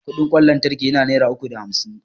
Kudin kwan lantraki yana naira uku da hamsin